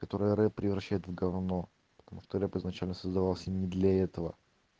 который рэп превращает в гавно потому что рэп изначально создавался не для этого